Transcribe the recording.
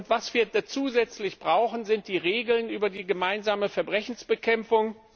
Was wir zusätzlich brauchen, sind die Regeln über die gemeinsame Verbrechensbekämpfung.